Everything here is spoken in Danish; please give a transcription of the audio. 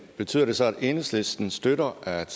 betyder det så at enhedslisten støtter at